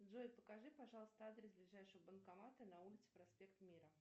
джой покажи пожалуйста адрес ближайшего банкомата на улице проспект мира